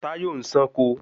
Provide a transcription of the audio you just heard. Tayo ń sànko